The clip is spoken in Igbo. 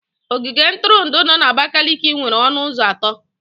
Ogige ntụrụndụ no na Abakaliki nwere ọnụ ụzọ atọ.